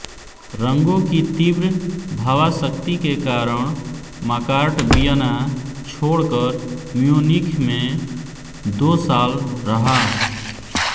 रंगों की तीव्र भावासक्ति के कारण माकार्ट वियना छोड़कर म्यूनिख में दो साल रहा